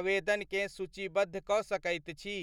आवेदनकेँ सूचीबद्ध कऽ सकैत छी ?